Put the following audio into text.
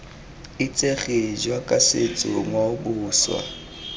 itsege jaaka setso ngwao boswa